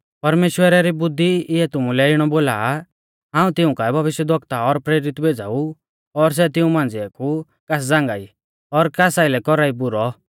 परमेश्‍वरै री बुद्धी इऐ तुमुलै इणौ बोलौ आ हाऊं तिऊं काऐ भविष्यवक्ता और प्रेरित भेज़ाऊ और सै तिऊं मांझ़िऐ कु कास झ़ांगाई और कास आइलै कौरा ई बुरौ